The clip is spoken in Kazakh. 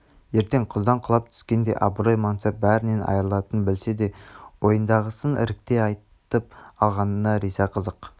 ертең құздан құлап түскендей абырой мансап бәрінен айрылатынын білсе де ойындағысын ірікпей айтып алғанына риза қызық